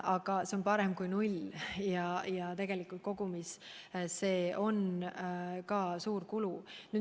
Aga see on parem kui null ja tegelikult kokku on see suur kulu.